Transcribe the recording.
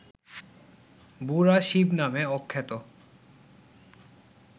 ‘বুড়া শিব’ নামে আখ্যাত